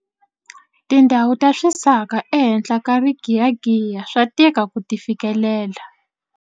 Tindhawu ta swisaka ehenhla ka rigiyagiya swa tika ku ti fikelela.